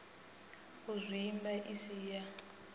u zwimba i si ya